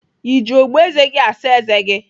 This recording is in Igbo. Ị ji ogboeze gị saa eze gi?